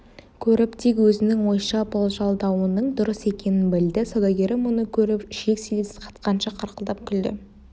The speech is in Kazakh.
көріп дик өзінің ойша болжалдауының дұрыс екенін білді саудагері мұны көріп ішек-сілесі қатқанша қарқылдап күлді